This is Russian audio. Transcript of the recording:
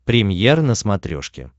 премьер на смотрешке